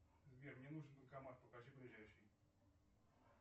сбер мне нужен банкомат покажи ближайший